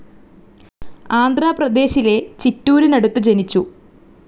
ആന്ധ്ര പ്രദേശിലെ ചിറ്റൂരിനടുത്ത് ജനിച്ചു.